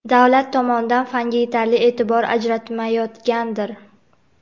davlat tomondan fanga yetarli e’tibor ajratmayotgandir.